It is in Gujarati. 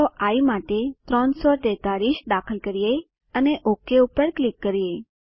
ચાલો આઇ માટે 343 દાખલ કરીએ અને ઓક ઉપર ક્લિક કરીએ